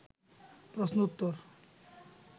প্রশ্ন উত্তর